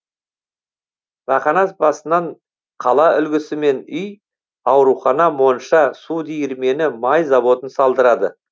бақанас басынан қала үлгісімен үй аурухана монша су диірмені май заводын салдырады